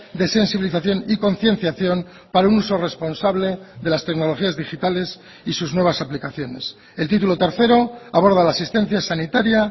de sensibilización y concienciación para un uso responsable de las tecnologías digitales y sus nuevas aplicaciones el título tercero aborda la asistencia sanitaria